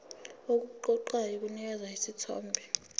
okuqoqayo kunikeza isithombe